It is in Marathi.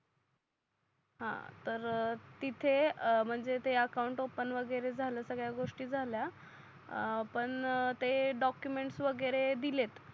हा तर तिथे म्हणजे ते अकाउंट ओफन वगेरे झाल संगड्या गोष्टी झाल्या अं पण ते डॉकूमेंट वगेरे दिलेत